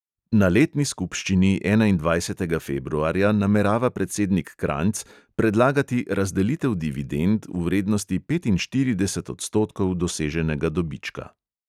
Na letni skupščini enaindvajsetega februarja namerava predsednik kranjc predlagati razdelitev dividend v vrednosti petinštirideset odstotkov doseženega dobička.